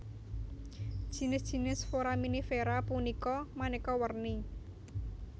Jinis jinis foraminifera punika manéka werni